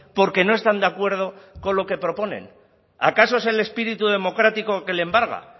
porque no están de acuerdo con lo que proponen acaso es el espíritu democrático que le embarga